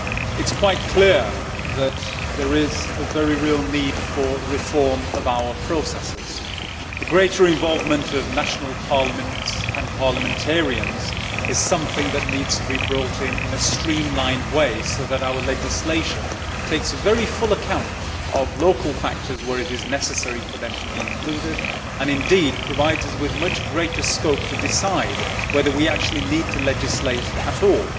It is quite clear that there is a very real need for reform of our processes. The greater involvement of national parliaments and parliamentarians is something that needs to be introduced in a streamlined way so that our legislation takes full account of local factors where it is necessary for them to be included, and indeed provides us with much greater scope to decide whether we actually need to legislate at all.